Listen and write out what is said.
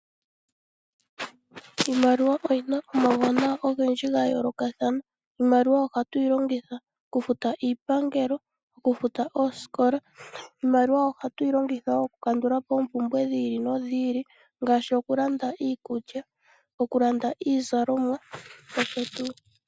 Iimaliwa oyina omauwanawa ogendji gayoolokathana. Iimaliwa ohatuyi longitha okufuta iipangelo okufutu oosikola. Iimaliwa ohatuyi longitha woo oku kandulapo oompumbwe dhi ili nodhi ili ngaashi okulanda iikulya nokulanda iizalomwa noshowo tuu.